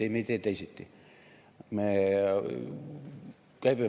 Ei, me ei tee teisiti.